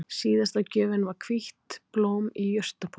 Síðasta gjöfin var hvítt blóm í jurtapotti